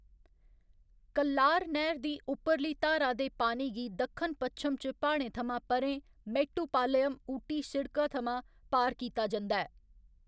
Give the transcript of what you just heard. कल्लार नैह्‌र दी उप्परली धारा दे पानी गी दक्खन पच्छम च प्हाड़ें थमां परें मेट्टुपालयम ऊटी सिड़का थमां पार कीता जंदा ऐ।